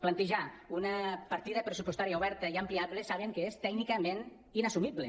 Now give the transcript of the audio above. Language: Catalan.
plantejar una partida pressupostària oberta i ampliable saben que és tècnicament inassumible